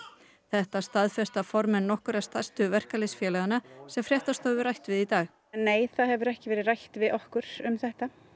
þetta staðfesta formenn nokkurra stærstu verkalýðsfélaganna sem fréttastofa hefur rætt við í dag nei það hefur ekki verið rætt við okkur um þetta